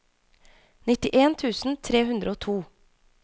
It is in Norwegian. nittien tusen tre hundre og to